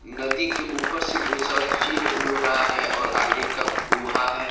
नदी के ऊपर से बहुत सारा चिल्ल उड़ रहा है। और है